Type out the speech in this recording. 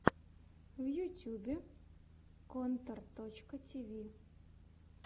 в ютьюбе контор точка ти ви